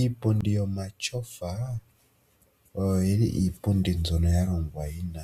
Iipundi yomatyofa oyo yili iipundi mbyono yalongwa yi na